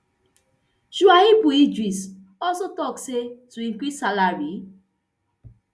shuaibu idris also tok say to increase salary